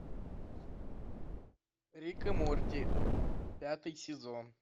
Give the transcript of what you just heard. рик и морти пятый сезон